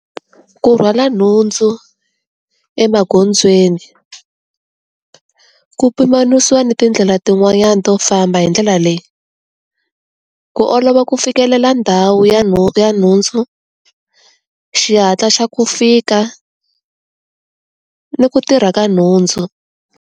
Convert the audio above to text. Ku rhwala nhundzu, emagondzweni. Ku pimanisiwa ni tindlela tin'wanyani to famba hi ndlela leyi. Ku olova ku fikelela ndhawu ya ya nhundzu, xihatla xa ku fika, ni ku tirha ka nhundzu.